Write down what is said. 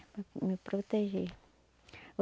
me proteger.